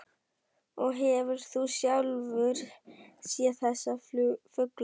Og hefur þú sjálfur séð þessa fugla?